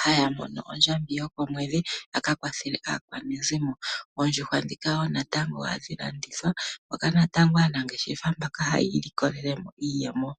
haya mono ondjambi yokomwedhi ya ka kwathele aakwanezimo. Oondjuhwa wo natango ndhika ohadhi landithwa moka wo natango aanafaalama mbaka haya ilikolele iiyemo.